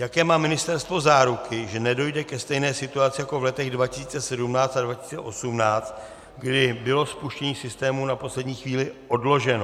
Jaké má ministerstvo záruky, že nedojde ke stejné situaci jako v letech 2017 a 2018, kdy bylo spuštění systémů na poslední chvíli odloženo?